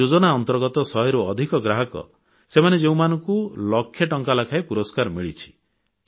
ଏହି ଯୋଜନା ଅନ୍ତର୍ଗତ ଶହେରୁ ଅଧିକ ଗ୍ରାହକ ସେମାନେ ଯେଉଁମାନଙ୍କୁ ଲକ୍ଷେ ଟଙ୍କା ଲେଖାଏଁ ପୁରସ୍କାର ମିଳିଛି